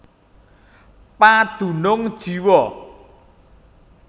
Padunung jiwa